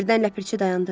Birdən Ləpirçi dayandı.